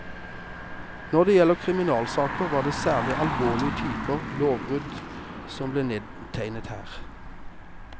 Når det gjelder kriminalsaker, var det særlig alvorlige typer lovbrudd som ble nedtegnet her.